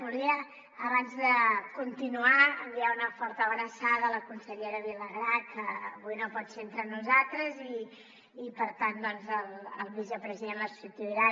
volia abans de continuar enviar una forta abraçada a la consellera vilagrà que avui no pot ser entre nosaltres i per tant el vicepresident la substituirà